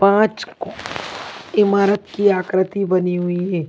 पांच इमारत की आकृति बनी हुई है।